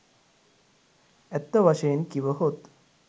ඇත්ත වශයෙන් කිවහොත්